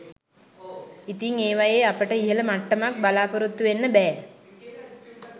ඉතිං ඒවයේ අපට ඉහළ මට්ටමක් බලාපොරොත්තු වෙන්න බෑ